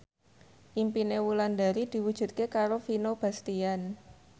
impine Wulandari diwujudke karo Vino Bastian